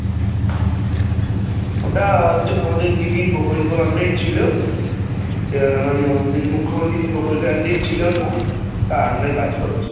ওটা আমাদের দিদির প্রকল্পের Under এই ছিল মানে আহ মুখ্যমন্ত্রীর প্রকল্পের under এই ছিল ও টা তার under এই কাজ করছি